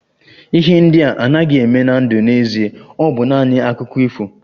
Ihe ndị a anaghị eme na ndụ n'ezie, ọ bụ naanị Akụkọ ifo